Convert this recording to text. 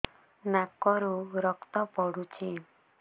ନାକରୁ ରକ୍ତ ପଡୁଛି